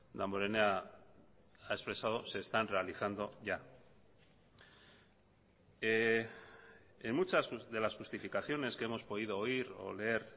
damborenea ha expresado se están realizando ya en muchas de las justificaciones que hemos podido oír o leer